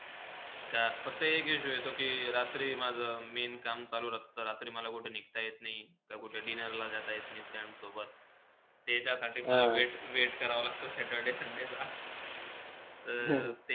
का, फक्त एक issue येतो कि रात्री माझा main काम चालू राहता, रात्री मला कुठे निण्जता येत नाही, ते कुठे dinner ला जाता येत नाही FRIENDS सोबत ते त्यासाठ मला wait करावा लागता saturdaysunday तर ते,